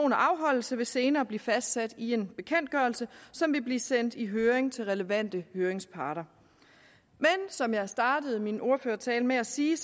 og afholdelse vil senere blive fastsat i en bekendtgørelse som vil blive sendt i høring til relevante høringsparter som jeg startede min ordførertale med at sige